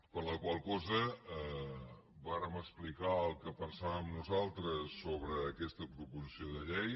per la qual cosa vàrem explicar el que pensàvem nosaltres sobre aquesta proposició de llei